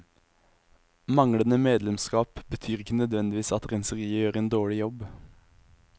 Manglende medlemskap betyr ikke nødvendigvis at renseriet gjør en dårlig jobb.